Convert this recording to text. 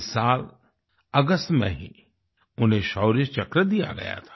इस साल अगस्त में ही उन्हें शौर्य चक्र दिया गया था